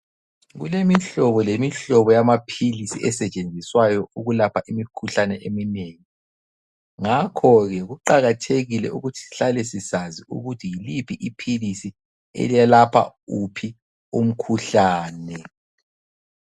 Kulemihlobo lemihlobo yamaphilisi esetshenziswayo ukwelapha imikhuhlane eminengi ngakho ke kuqakathekile ukuthi sihlale sisazi ukuthi yiliphi iphilisi elelapha uphi umkhuhlane.